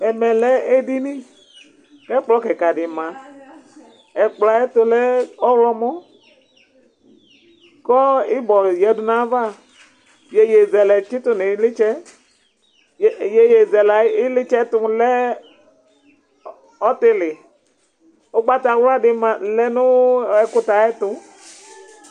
Ɛmɛ lɛ edini, ku ɛkplɔ kika di ma, ɛkplɔɛ ayɛtu lɛ ɔwlɔmɔ, kɔ ibɔ yadu nu ayava, yeye zɛlɛ tsitu nu ilitsɛ, yeye zɛlɛ ayu ilitsɛtu lɛ ɔtili, ugbata wla di ma lɛ nu ɛkutɛ ayɛtu